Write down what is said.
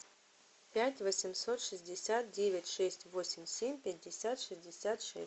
пять восемьсот шестьдесят девять шесть восемь семь пятьдесят шестьдесят шесть